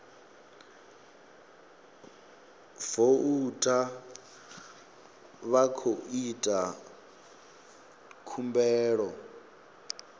voutha vha khou ita khumbelo